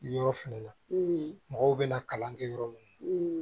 Yɔrɔ fɛnɛ na mɔgɔw bɛna kalan kɛ yɔrɔ min